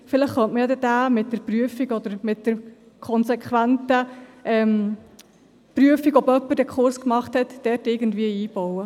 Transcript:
Vielleicht könnte man ja dort eine Prüfung oder die konsequente Prüfung, ob jemand den Kurs gemacht hat, irgendwie einbauen.